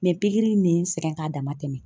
pikiri in ne n sɛgɛn k'a dama tɛmɛ.